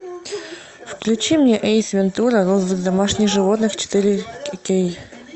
включи мне эйс вентура розыск домашних животных четыре кей